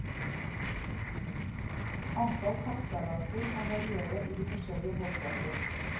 Antall kappseilaser kan variere i de forskjellige båtklasser.